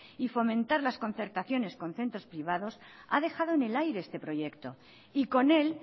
y fomentar las concertaciones con centros privados ha dejado en el aire este proyecto y con él